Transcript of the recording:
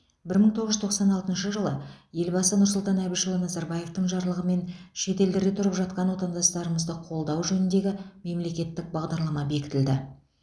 бір мың тоғыз жүз тоқсан алтыншы жылы елбасы нұрсұлтан әбішұлы назарбаевтың жарлығымен шетелдерде тұрып жатқан отандастарымызды қолдау жөніндегі мемлекеттік бағдарлама бекітілді